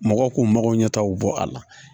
Mɔgɔw k'u mago ɲɛtagaw bɔ a la